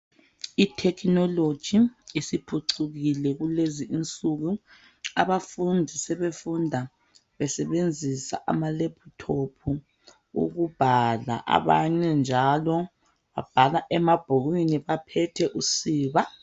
Itekinoloji isiphucukile kulezi insuku. Abafundi sebefunda besebenzisa amaleputopu ukubhala. Abanye njalo babhala emabhukwini baphethe usiba.